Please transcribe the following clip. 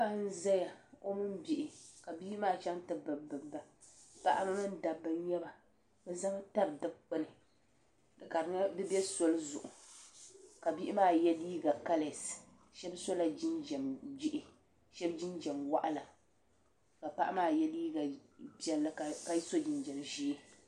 Paɣa n ʒɛya o mini bihi ka bihi maa chɛŋ ti bibiba paɣaba mini dabba n nyɛba bi ʒɛmi tabi dikpuni ka di bɛ soli zuɣu ka bihi maa yɛ liiga kalɛs shab sola jinjɛm jihi shab jinjɛm waɣala ka paɣa maa yɛ liiga piɛlli ka so jinjɛm ʒiɛ